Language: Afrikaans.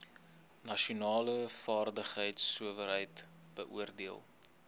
nasionale vaardigheidsowerheid beoordeel